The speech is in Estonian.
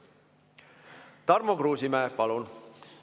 Tarmo Kruusimäe, palun!